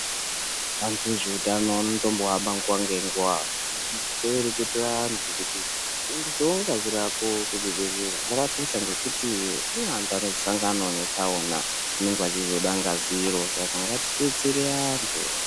Vantu vezveutano vanotombo hamba nguwa ngenguwa veireketera vantu kuendesawo ngazi rako kuzvibhedhlera zvakakosha ngekuti kune antu anosanganawo ngematsaona vanenge vachizode ngazi iro Saka ngati detsere antu.